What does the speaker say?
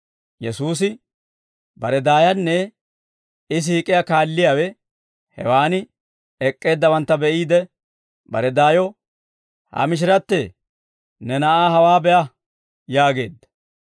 Yesuusi bare daayanne I siik'iyaa kaalliyaawe hewan ek'k'eeddawantta be'iide, bare daayo, «Ha mishirattee, ne na'aa hawaa be'a!» yaageedda.